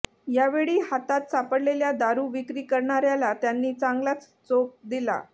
यावेळी हातात सापडलेल्या दारू विक्री करणाऱ्याला त्यांनी चांगलाच चोप दिला